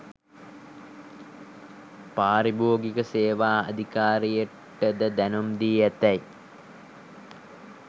පාරිභෝගික සේවා අධිකාරියටද දැනුම් දී ඇතැයි